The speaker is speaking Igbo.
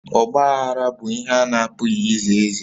Ọgbaghara bụ ihe a na-apụghị ize eze